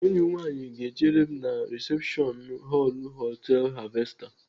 Enyi m nwaanyị ga-eche m na risepshọn họlụ họtelu Harvester.